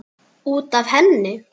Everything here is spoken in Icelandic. Út af henni!